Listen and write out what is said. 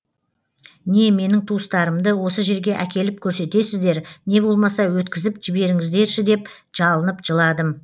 не менің туыстарымды осы жерге әкеліп көрсетесіздер не болмаса өткізіп жіберіңіздерші деп жалынып жыладым